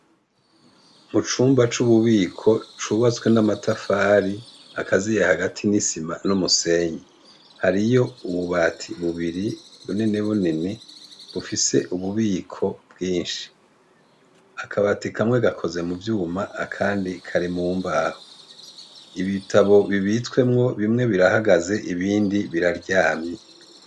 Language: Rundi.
Mucumba c' ububiko cubatswe n' amatafari hakaziye hagati n' isima n ' umusenyi hariy' ububati bubiri bunini bunini, bufis' ububiko bwinshi akabati kamwe gakozwe mu vyuma akandi kari mumbaho, ibitabo bibitswemwo bimwe birahagaz' ibindi biraryamye.